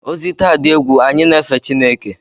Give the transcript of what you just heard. Ozi taa dị egwu, anyị na-efe Chineke.